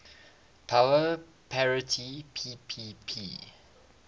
power parity ppp